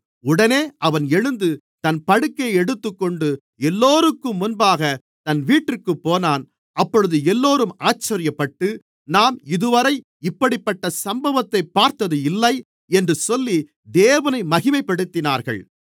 உடனே அவன் எழுந்து தன் படுக்கையை எடுத்துக்கொண்டு எல்லோருக்கும் முன்பாக தன் வீட்டிற்குப்போனான் அப்பொழுது எல்லோரும் ஆச்சரியப்பட்டு நாம் இதுவரை இப்படிப்பட்ட சம்பவத்தைப் பார்த்தது இல்லை என்று சொல்லி தேவனை மகிமைப்படுத்தினார்கள்